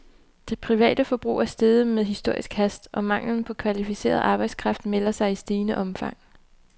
Det private forbrug er steget med historisk hast, og manglen på kvalificeret arbejdskraft melder sig i stigende omfang.